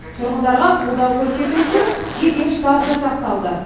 тұрғындарға қолдау көрсету үшін жедел штаб жасақталды